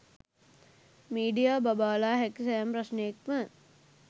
media බබාලා හැකි සෑම ප්‍රශ්ණයක්ම